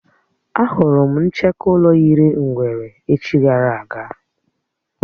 Á hụrụ m ncheke ụlọ yiri ngwere echi gara aga